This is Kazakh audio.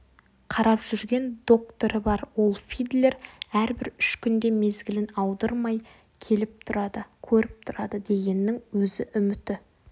қарап жүрген докторы бар ол фидлер әрбір үш күнде мезгілін аудырмай келіп тұрады көріп тұрады дегеннің өзі үміті